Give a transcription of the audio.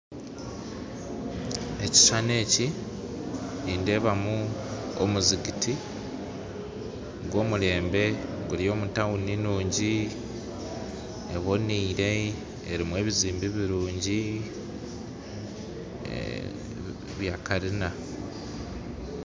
Ekishishani ekyi nindeebamu omuzigiti gwa omurembe guri omu tawuni nungyi ebonire erimu ebizimbe ebirungyi bya karina